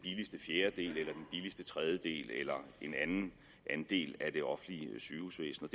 billigste tredjedel eller en anden andel af det offentlige sygehusvæsen